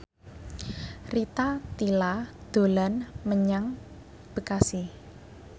Rita Tila dolan menyang Bekasi